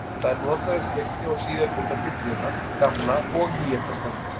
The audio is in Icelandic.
Það er notað um fyrri og síðari hluta Biblíunnar, Gamla og Nýja testamentið.